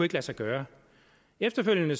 lade sig gøre efterfølgende